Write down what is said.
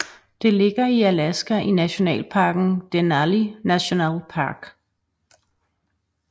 Det ligger i Alaska i nationalparken Denali National Park